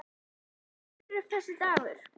Og svo rennur þessi dagur upp.